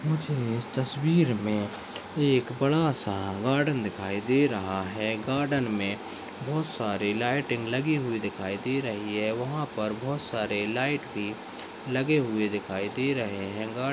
मुझे इस तस्वीर में एक बड़ा- सा गार्डन दिखाई दे रहा है गार्डन में बहुत सारे लाईटिंग लगी हुए दिखाई दे रही है वहाँ पर बहुत सारे लाईट भी लगे हुए दिखाई दे रहे हैं। गा--